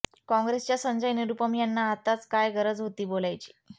काँग्रेसच्या संजय निरूपम यांना आताच काय गरज होती बोलायची